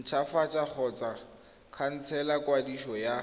ntshwafatsa kgotsa khansela kwadiso ya